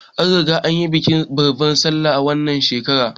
An riga an yi bikin babbar sallah na wannan shekarar